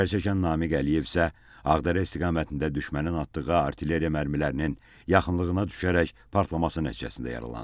Zərərçəkən Namiq Əliyev isə Ağdərə istiqamətində düşmənin atdığı artilleriya mərmilərinin yaxınlığına düşərək partlaması nəticəsində yaralanıb.